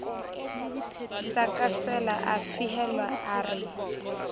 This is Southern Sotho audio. tlakasela a fehelwa a re